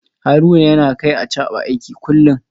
Haruna yana kai Achaba aiki kullum